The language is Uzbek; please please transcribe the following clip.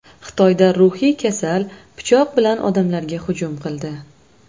Xitoyda ruhiy kasal pichoq bilan odamlarga hujum qildi.